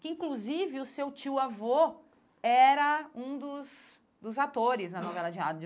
Que, inclusive, o seu tio avô era um dos dos atores na novela de rádio.